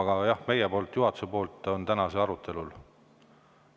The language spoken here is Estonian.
Aga jah, juhatuses on meil see täna arutelul.